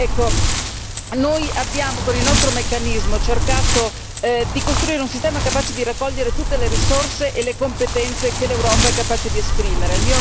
Ecco, noi abbiamo con il nostro meccanismo cercato di costruire un sistema capace di raccogliere tutte le risorse e le competenze che l'Europa è capace di esprimere.